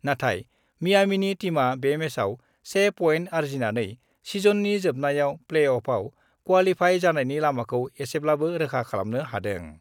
नाथाय मियामीनि टीमआ बे मेचआव 1 पइन्ट आर्जिनानै सिजननि जोबनायाव प्लेअफआव क्वालिफाइ जानायनि लामाखौ एसेब्लाबो रोखा खालामनो हादों।